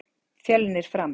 Fjölnir- Fram